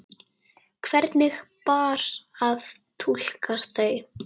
Hvernig bar að túlka þau?